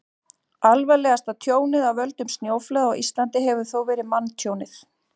Alvarlegasta tjónið af völdum snjóflóða á Íslandi hefur þó verið manntjónið.